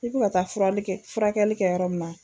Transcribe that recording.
E bi ka taa furali kɛ furakɛlikɛ yɔrɔ min na